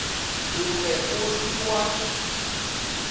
o be o se wa